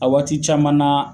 A waati caman na